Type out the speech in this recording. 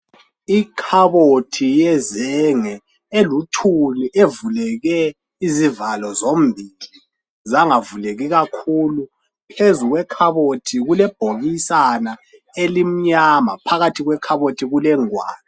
Ikhabothi yezenge elithuli evuleke izivalo zombili zangavuleki kakhulu phezu kwekhabothi kulebhokisana elimnyama phakathi kwekhabothi kulengwalo